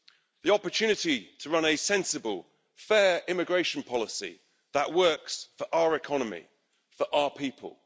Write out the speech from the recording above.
The opportunity to run a sensible, fair immigration policy that works for our economy, for our people.